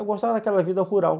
Eu gostava daquela vida rural.